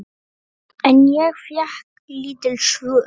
En ég fékk lítil svör.